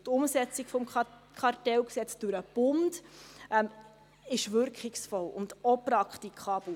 Die Umsetzung des Kartellgesetzes durch den Bund ist wirkungsvoll und auch praktikabel.